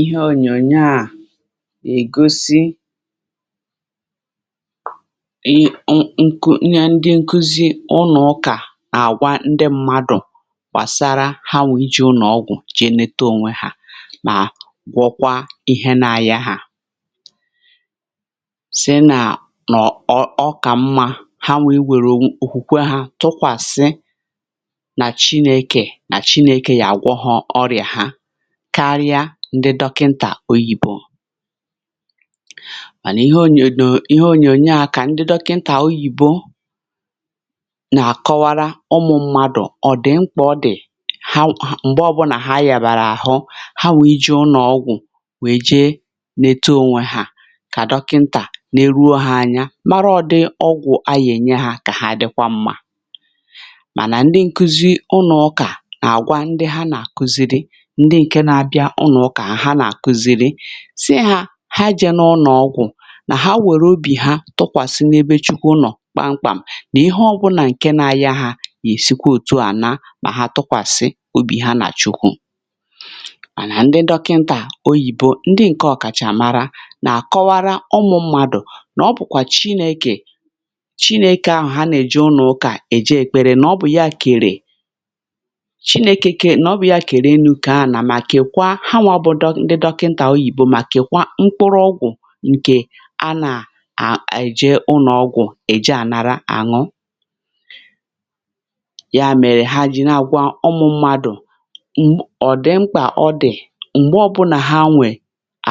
Ihe ònyònyo à ègosi um ihe ndị nkụzi ụnụ̀ ụkà na-àgwa ndị mmadụ̀ gbàsara ha nwa ije ụnọ̀gwụ̀ jeneta ònwe hȧ mà gwọkwa ihe na-ayȧ hà. Si nà nọ̀ ọkà mmȧ ha nwa iwèrù òkwukwe hȧ tụkwàsị na chineke ga agwọ ha ọrịa ha karịa ndị dọkịntà oyìbo. Mànà ihe onyònyo a nà ihe onyò a kà ndị dọkịntà oyìbo nà-àkọwara ụmụ̇ mmadụ̀ ọ dị̀ mkpà ọ dị̀ ha m̀gbe ọbụlà ha yàbàrà àhụ ha nwa ijie ụnọ̀gwụ̀ wè je ne too onwe ha kà dọkịntà neruo ha anya mara ọ̀ dị ọgwụ̀ a yà ènye ha kà ha dịkwa mmȧ, mànà ndị nkuzi ụnọ̀ ụkà na-agwa ndị ha na-akụziri, ndị ǹke na-abịa ụnọ̀ ụkà ha nà-àkụziri sị hȧ ha jẹ n’ụnọ̀gwụ̀ nà ha wèrè obì ha tụkwàsị n’ebe chukwu nọ̀ kpamkpàm nà ihe ọbụna ǹke na-ayȧ hȧ yà-èsikwa òtù àna mà ha tụkwàsị obì ha nà chukwu. Manà nà ndị dọkịntà oyìbo ndị ǹke ọ̀kàchàmara nà-àkọwara ụmụ̇ mmadụ̀ nà ọ bụ̀kwà chinekè chinekè ahụ̀ ha nà-èje ụnọ̀ ukà èje èkpere nà ọ bụ̀ ya kèrè na ọ bụ ya kere chineke kere enu kee ana, ma keekwa ha nwà ndị dọkịntà oyìbo màkèkwa mkpụrụ ọgwụ̀ ǹkè a a nà-èje ụnọ̀ọgwụ̀ èje ànara àṅụ. Ya mèrè ha ji naàgwà ụmụ̇ mmadụ̀ ọ̀dị̀ mkpà ọdì m̀gbè ọbụnà ha nwè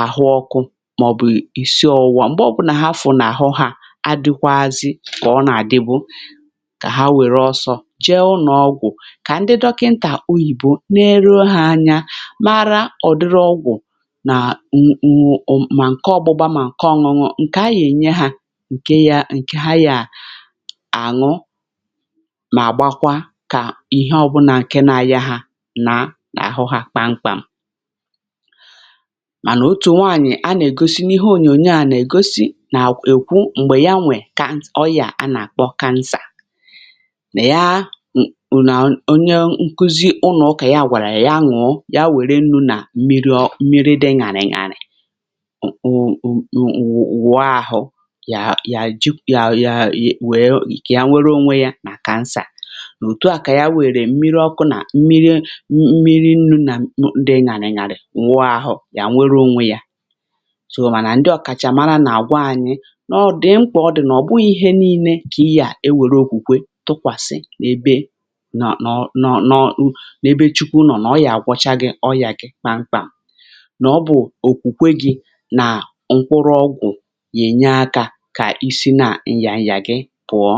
àhụ ọkụ màọ̀bụ̀ ìsii ọwụ̇wȧ m̀gbè ọbụnà ha fụ̀ n’àhụ ha adịkwazị kà ọ nà-àdịbụ kà ha wère ọsọ jee ụnọ̀ọgwụ̀ kà ndị dọkịntà oyìbo neruo ha anya, mara ọ̀dịrị ọgwụ̀ nà ǹǹǹụ̀ ụ̀mụ̀ mà ǹke ọgbụgba mà ǹke ọ̀ṅụṅụ ǹkè a yà-ènye ha ǹke ya ǹke ha yà àṅụ mà gbakwa kà ihe ọbụnà ǹke nȧ aya ha nà àhụ na kpamkpàm. Mànà otù nwaànyì a nà-ègosi n’ihe ònyònyo à nà-ègosi nà-èkwu m̀gbè ya nwè kà ọyà a nà-àkpọ cancer ya nkụzi ụnụ̀ ụkà ya gwàrà ṅụọ ya were nnu na mmiri dị̇ ṅàrị̀ ṅàrị̀ [ụ̀m] wụ̀ọ ahụ̀ yà yà ji̇ yà yà wee yà nwere ònwe yȧ nà kansà nà òtù a kà ya wèrè mmiri ọkụ̇ nà mmiri ṅ̇m̀mmiri nnu̇ nà mmiri ṅ̀àrị̀ ṅàrị̀ ṅàrị̀ wụ̀a yȧ yà nwere ònwe yȧ. sòwù mànà ndị ọ̀kàchàmara nà àgwà anyị n’ọ̀dị ṅkwà ọ dị̀ nà ọ̀ bụghị̇ ihe ni̇nė kà ihe à e wère òkwùkwe tụkwàsị̀ ebe nọ nọọ̀ nọ ebe chukwu nọ̀ nọ̀ọrọ àgwà nà ọ bụ̀ òkwùkwe gị̇ nà mkoụrụ ọgwụ̀ nà-ènye akȧ kà isi na ǹyànyà gị pụ̀ọ.